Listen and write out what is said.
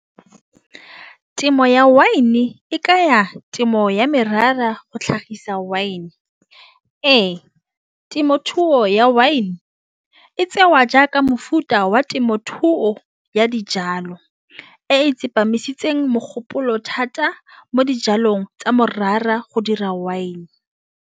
Temo ya wine e ka ya temo ya merara go tlhagisa wine. Ee, temothuo ya wine etsewa jaaka mofuta wa temothuo ya dijalo e tsepamisitseng mogopolo thata mo dijalong tsa morara go dira wine.